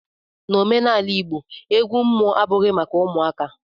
N'omenala igbo, egwu mmụọ abụghị maka ụmụaka